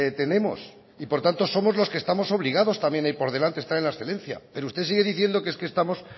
tenemos y por tanto somos los que estamos obligados también a ir por delante a estar en la excelencia pero usted sigue diciendo que estamos